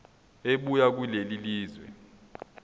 ebuya kulelo lizwe